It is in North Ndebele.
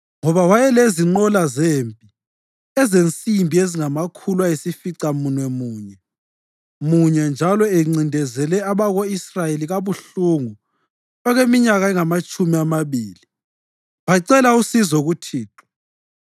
Ngoba wayelezinqola zempi ezensimbi ezingamakhulu ayisificamunwemunye munye njalo encindezele abako-Israyeli kabuhlungu okweminyaka engamatshumi amabili, bacela usizo kuThixo.